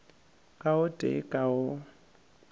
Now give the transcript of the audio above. ka o tee ka o